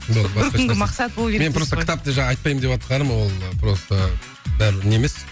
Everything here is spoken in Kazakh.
бір күнгі мақсат болу керек дейсіз ғой мен просто кітапты жаңа айтпаймын деватқаным ол просто дәл не емес